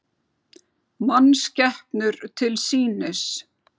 Mannskepnur til sýnis